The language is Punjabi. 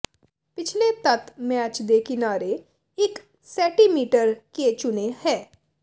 ਪਿਛਲੇ ਤੱਤ ਮੈਚ ਦੇ ਕਿਨਾਰੇ ਇੱਕ ਸੈਟੀਮੀਟਰ ਕੇ ਚੁਨੇ ਹੈ